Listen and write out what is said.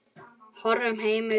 Horfinn heimur.